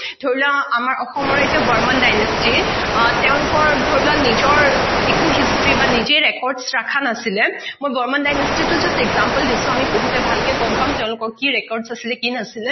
ধৰি লোৱা আমাৰ অসমৰ এটা Bormon dynasty আহ তেওঁলোকৰ ধৰি লোৱা নিজৰ একো history বা নিজে record ৰখা নাছিলে মই Bormon dynasty টো just example দিছো। আমি পঢ়োতে বহুত ভালকে গম পাম তেওঁলোকৰ কি record আছিলে কি নাছিলে।